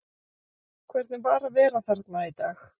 Hvernig var að vera þarna í dag?